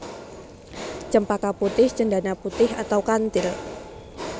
Cempaka putih cendana putih atau kantil